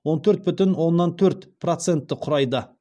он төрт бүтін оннан төрт процентті құрайды